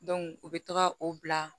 u bɛ taga o bila